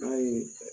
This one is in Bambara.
N'a ye